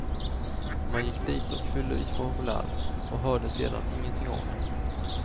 Man gick dit och fyllde i formulär och hörde sedan ingenting av dem.